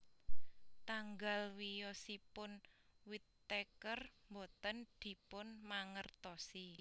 Tanggal wiyosipun Whittaker boten dipunmangertosi